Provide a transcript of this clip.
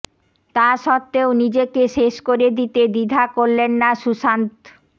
তা সত্ত্বেও নিজেকে শেষ করে দিতে দ্বিধা করলেন না সুশান্ত